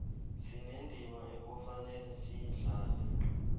sinendima ekufanele siyidlale